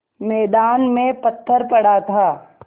मैदान में पत्थर पड़ा था